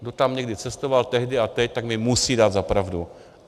Kdo tam někdy cestoval tehdy a teď, tak mi musí dát za pravdu.